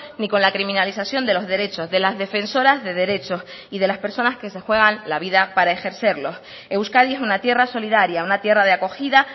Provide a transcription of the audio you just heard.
ni con la criminalización de los derechos de las defensoras de derechos y de las personas que se juegan la vida para ejercerlo euskadi es una tierra solidaria una tierra de acogida